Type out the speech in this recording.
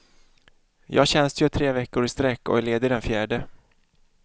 Jag tjänstgör tre veckor i sträck och är ledig den fjärde.